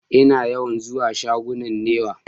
Ina yawan zuwa shagunan Niwa.